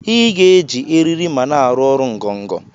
Iga eji eriri ma na arụ ọrụ ngọgọ!!